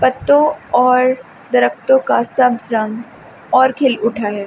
पत्तों और दरख्तों का सब्ज रंग और खिल उठा है।